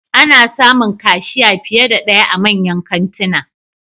Ana samun kashiya fiye da daya a manyan kantuna